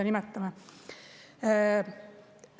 – psühholoogiline vanus.